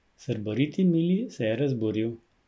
Srboriti Mili se je razburil.